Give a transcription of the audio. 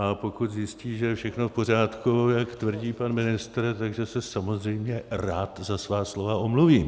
A pokud zjistí, že je všechno v pořádku, jak tvrdí pan ministr, takže se samozřejmě rád za svá slova omluvím.